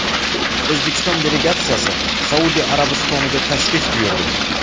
O‘zbekiston delegatsiyasi Saudiya Arabistoniga tashrif buyurdi.